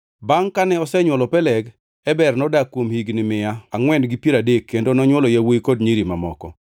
Bangʼ kane osenywolo Peleg, Eber nodak kuom higni mia angʼwen gi piero adek kendo nonywolo yawuowi kod nyiri mamoko.